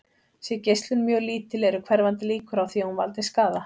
Sé geislun mjög lítil eru hverfandi líkur á því að hún valdi skaða.